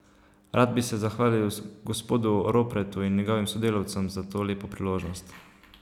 Rad bi se zahvalil gospodu Ropretu in njegovim sodelavcem za to lepo priložnost.